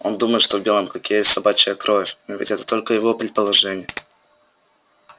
он думает что в белом клыке есть собачья кровь но ведь это только его предположение